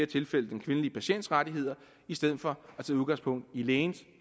tilfælde den kvindelige patients rettigheder i stedet for at tage udgangspunkt i lægens